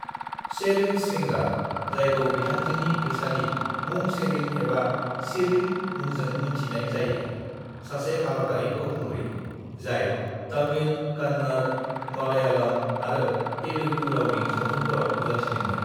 "शेरिन श्रृंगार, जायखौ बिथांजोनि फैसालि मुं शेरिन एबा शिरीन मुंजों मोनथिनाय जायो, सासे भारतारि फावखुंग्रि, जाय तमिल, कन्नड़, मलयालम आरो तेलुगु रावनि सावथुनफोराव नुजाथिदोंमोन।"